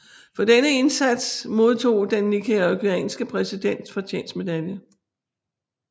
For denne indsats modtog den nicaraguanske præsidents fortjenstmedalje